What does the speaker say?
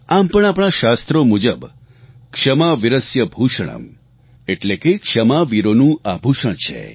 આમ પણ આપણા શાસ્ત્રો મુજબ ક્ષમા વિરસ્ય ભૂષણમ્ એટલે કે ક્ષમા વીરોનું આભૂષણ છે